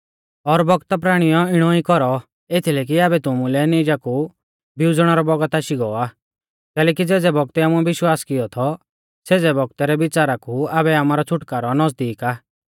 और बौगता प्राणियौ इणौ ई कौरौ एथीलै कि आबै तुमुलै नीजा कु बिउज़णै रौ बौगत आशी गौ आ कैलैकि ज़ेज़ै बौगतै आमुऐ विश्वास किऔ थौ सेज़ै बौगतै रै बिच़ारा कु आबै आमारौ छ़ुटकारौ नज़दीक आ